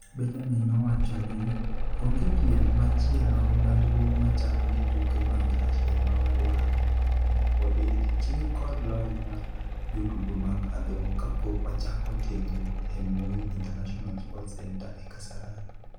Benjamin nowachoni, "Onge piem machielo maduong' machalo gi tuke mag Russia ma wadwaro mondo omi wabed gi chir kod lony mar jotugo mag adhong' kapok wachako tiegruok e Moi International Sports Centre e Kasarani".